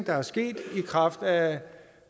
er sket i kraft af